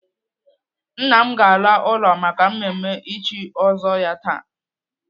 Nna m ga-ala ụlọ maka mmemme ịchị ọzọ ya taa.